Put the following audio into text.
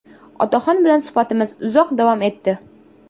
Otaxon bilan suhbatimiz uzoq davom etdi.